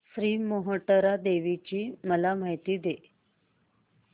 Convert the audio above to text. श्री मोहटादेवी ची मला माहिती दे